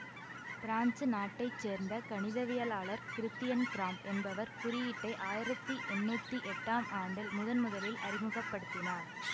France நாட்டை சேர்ந்த கணிதவியலாளர் கிறித்தியன் கிறாம்ப் என்பவர் குறியீட்டை ஆயிரத்தி எண்ணூத்தி எட்டாம் ஆண்டில் முதன் முதலில் அறிமுக படுத்தினார்